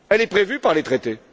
Elle est prévue par les traités.